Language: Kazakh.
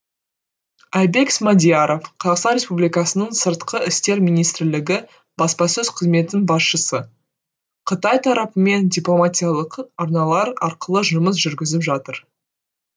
айбек смадияров қазақстан республикасының сыртқы істер министрлігі баспасөз қызметінің басшысы қытай тарапымен дипломатиялық арналар арқылы жұмыс жүргізіп жатыр